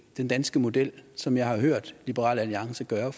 den danske model som jeg har hørt liberal alliance gøre